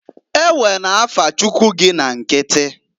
Ewena afa Chuckwu gị na nkiti!